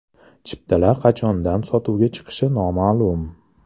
Chiptalar qachondan sotuvga chiqishi noma’lum.